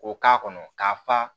K'o k'a kɔnɔ k'a fa